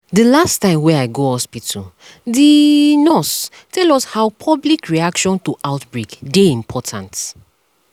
dey last time wey i go hospitalthe nurse tell us how public reaction to outbreak dey important